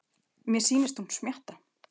Mér sýnist hún smjatta.